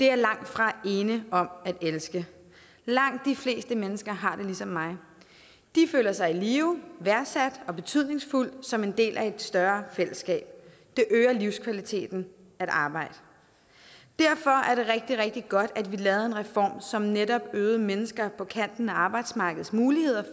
jeg langtfra ene om at elske langt de fleste mennesker har det ligesom mig de føler sig i live værdsatte og betydningsfulde som en del af et større fællesskab det øger livskvaliteten at arbejde derfor er det rigtig rigtig godt at vi lavede en reform som netop øgede mennesker på kanten af arbejdsmarkedets muligheder